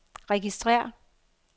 registrér